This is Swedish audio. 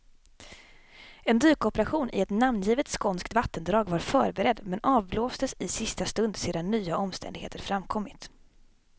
En dykoperation i ett namngivet skånskt vattendrag var förberedd, men avblåstes i sista stund sedan nya omständigheter framkommit.